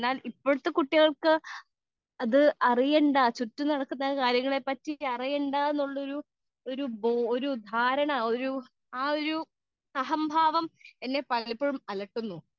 speaker 2 എന്നാൽ ഇപ്പോഴത്തെ കുട്ടികൾക്ക് അറിയണ്ട ചുറ്റും നടക്കുന്ന കാര്യങ്ങൾ അറിയേണ്ട എന്നുള്ളൊരു ധാരണ ആ ഒരു അഹംഭാവം എന്നെ പലപ്പോഴും അലട്ടുന്നു